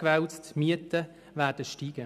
bezahlen müssen.